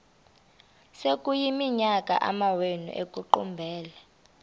sekuyiminyaka amawenu ekuqumbele